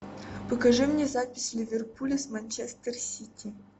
покажи мне запись ливерпуля с манчестер сити